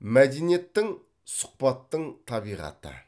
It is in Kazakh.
мәдениеттің сұхбаттың табиғаты